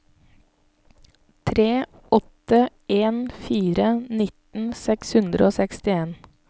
tre åtte en fire nitten seks hundre og sekstien